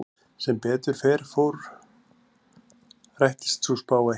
Sem betur fór rættist sú spá ekki.